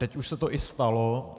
Teď už se to i stalo.